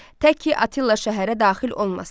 Tək ki Attila şəhərə daxil olmasın.